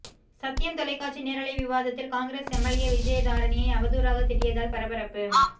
சத்தியம் தொலைக்காட்சி நேரலை விவாதத்தில் காங்கிரஸ் எம்எல்ஏ விஜயதாரணியை அவதூறாகத் திட்டியதால் பரபரப்பு